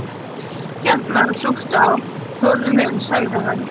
Hérna, súptu á, Þórður minn sagði hann.